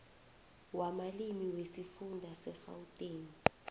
wamalimi wesifunda segauteng